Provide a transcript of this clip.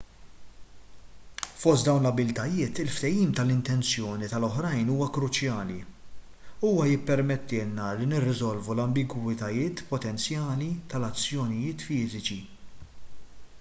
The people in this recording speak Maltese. fost dawn l-abbiltajiet il-fehim tal-intenzjoni tal-oħrajn huwa kruċjali huwa jippermettilna li nirriżolvu l-ambigwitajiet potenzjali tal-azzjonijiet fiżiċi